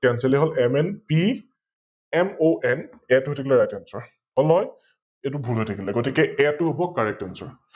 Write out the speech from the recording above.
Cencel য়ে হল, MNP, MONK টো হৈ থাকিলে RightAnswer । এইতো ভুল হৈ থাকিলে । গতিকে K টো হব CorrectAnswer